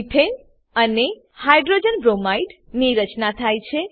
મેથાને અને hydrogen bromide ની રચના થાય છે